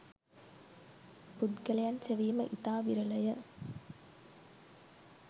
පුද්ගලයන් සෙවීම ඉතා විරලය.